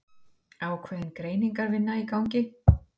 Ákveðin greiningarvinna í gangi